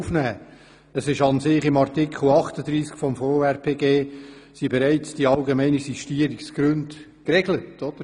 Allerdings sind die allgemeinen Sistierungsgründe bereits in Artikel 38 des Gesetzes über die Verwaltungsrechtspflege geregelt.